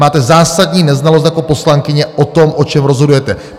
Máte zásadní neznalost jako poslankyně o tom, o čem rozhodujete.